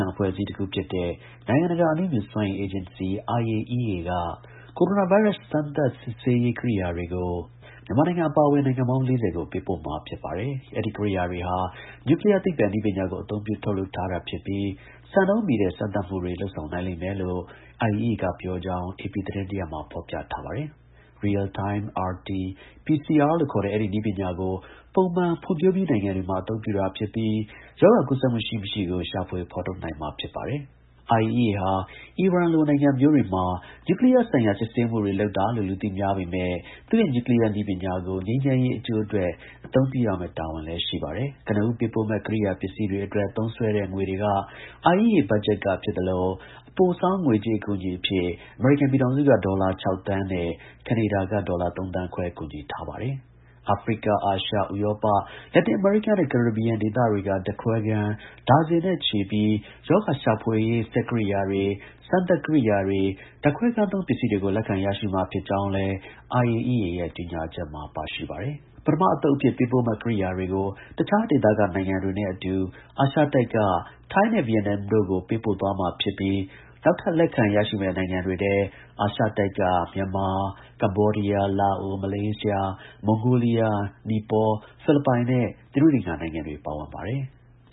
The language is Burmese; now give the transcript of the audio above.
ံ အဖွဲ့အစည်းတစ်ခုဖြစ်တဲ့ နိုင်ငံတကာ အဏုမြူစွမ်းအင် အေဂျင်စီ IAEA က ကိုရိုနာ ဗိုင်းရပ်စ် စမ်းသပ် စစ်ဆေးရေး ကိရိယာတွေကိုမြန်မာနိုင်ငံ အပါအဝင် နိုင်ငံပေါင်း ၄၀ ကို ပေးပို့မှာ ဖြစ်ပါတယ်။ အဲဒီ ကိရိယာတွေဟာ နျူကလီးယား သိပ္ပံနည်းပညာကို အသုံးပြု ထုတ်လုပ်ထားတာဖြစ်ပြီး စံနှုန်းမှီတဲ့ စမ်းသပ်မှုတွေ လုပ်ဆောင်နိုင်လိမ့် မယ်လို့ IAEA က ပြောကြောင်း AP သတင်းရပ်မှာ ဖော်ပြထားပါတယ်။ Real time RT-PCR လို့ခေါ်တဲ့ အဲဒီ နည်းပညာကို ပုံမှန် ဖွံ့ဖြိုးပြီးနိုင်ငံတွေမှာ အသုံးပြုတာဖြစ် ပြီး ရောဂါ ကူးစက်မှု ရှိ-မရှိကို ရှာဖွေ ဖော်ထုတ်နိုင်မှာ ဖြစ်ပါတယ်။ IAEA ဟာ အီရန်လို နိုင်ငံမျိုးတွေမှာ နျူးကလီယားဆိုင်ရာ စစ်ဆေးမှုတွေ လုပ်တာလို့ လူသိများပေမဲ့ သူ့ရဲ့ နျူးကလီးယား နည်းပညာ ကို ငြိမ်းချမ်းရေး အကျိုးအတွက် အသုံးပြုရမယ့် တာဝန်လည်း ရှိပါတယ်။ ကနဦး ပေးပို့မယ့် ကိရိယာ ပစ္စည်းတွေ အတွက် သုံးစွဲတဲ့ ငွေတွေက IAEA ဘတ်ဂျက်က ဖြစ်သလို အပိုဆောင်း ငွေကြေး အကူအညီအဖြစ် အမေရိကန် ပြည်ထောင်စုက ဒေါ်လာ ၆ သန်းနဲ့ ကနေဒါက ဒေါ်လာ ၃ သန်းခွဲ ကူညီထားပါတယ်။ အာဖရိက၊ အာရှ၊ ဥရောပ၊ လက်တင် အမေရိကနဲ့ ကာရစ်ဘီယံ ဒေသတွေက ဓါတ်ခွဲခန်း ဒါဇင်နဲ့ ချီပြီး ရောဂါ ရှာဖွေရေး စက်ကိရိယာ တွေ၊ စမ်းသပ် ကိရိယာတွေ၊ ဓါတ်ခွဲခန်းသုံး ပစ္စည်းတွေကို လက်ခံရရှိမှာ ဖြစ်ကြောင်းလည် IAEA ရဲ့ ကြေညာချက်မှာ ပါရှိတယ်။ ပထမအသုတ်အဖြစ် ပေးပို့မယ့် ကိရိယာတွေကို တခြား ဒေသက နိုင်ငံတွေနဲ့အတူ အာရှတိုက်က ထိုင်းနဲ့ ဗီယက်နမ်တို့ကို ပေးပို့သွား မှာ ဖြစ်ပြီး နောက်ထပ် လက်ခံ ရရှိမယ့် နိုင်ငံတွေထဲ အာရှတိုက်က မြန်မာ၊ ကမ္ဘောဒီးယား၊ လာအို၊ မလေးရှား၊ မွန်ဂိုလီးယား၊ နီပေါ၊ ဖိလစ်ပိုင်နဲ့ သီရိလင်္ကာ နိုင်ငံတွေ ပါဝင်ပါတယ်။